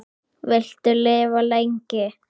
Viltu lifa lengi?